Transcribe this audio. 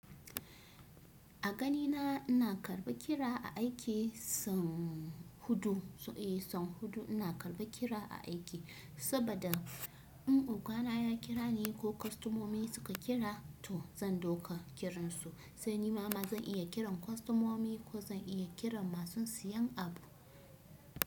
A ganina ina karɓa kira a aiki son huɗu, eh son huɗu ina karɓa kira a aiki, saboda in ukana ya kira ni ko kwastamomi suka kira to zan dauka kiransu. Sani mama zan iya kiran kwastamomi ko zan iya kiran masu siyan abu.